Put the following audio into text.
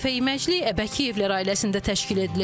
Bu dəfə iməcilik Əbəkiyevlər ailəsində təşkil edilib.